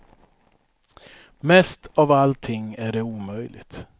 Mest av allting är det omöjligt.